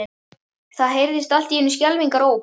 Það heyrðist allt í einu skelfingaróp.